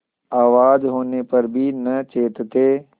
आवाज होने पर भी न चेतते